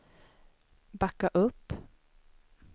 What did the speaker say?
backa upp